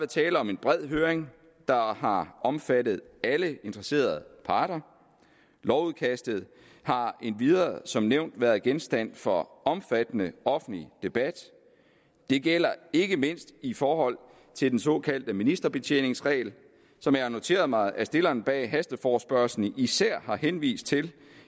tale om en bred høring der har omfattet alle interesserede parter lovudkastet har endvidere som nævnt været genstand for omfattende offentlig debat det gælder ikke mindst i forhold til den såkaldte ministerbetjeningsregel som jeg har noteret mig at stillerne af hasteforespørgslen især har henvist til